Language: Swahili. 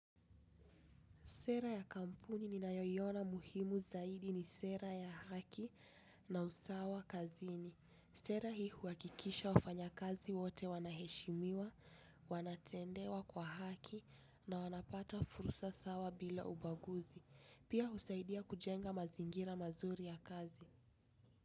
Sera ya kampuni ninayo iona muhimu zaidi nj sera hii huakikisha wafanya kazi wote wanaheshimiwa, wanatendewa kwa haki na wanapata fursa sawa bila ubaguzi. Pia husaidia kujenga mazingira mazuri ya kazi.